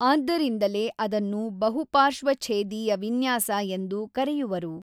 ಆದ್ದರಿಂದಲೇ ಅದನ್ನು ಬಹು ಪಾರ್ಶ್ವಛೇದೀಯ ವಿನ್ಯಾಸ ಎಂದು ಕರೆಯುವರು.